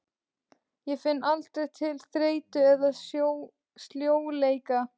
Ég finn aldrei til þreytu eða sljóleika.